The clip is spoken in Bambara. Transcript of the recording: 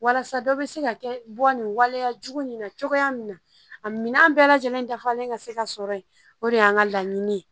Walasa dɔ bɛ se ka kɛ bɔ nin waleya jugu nin na cogoya min na a minɛn bɛɛ lajɛlen dafalen ka se ka sɔrɔ yen o de y'an ka laɲini ye